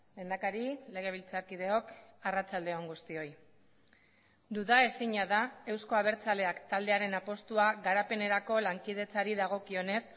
lehendakari legebiltzarkideok arratsalde on guztioi duda ezina da euzko abertzaleak taldearen apustua garapenerako lankidetzari dagokionez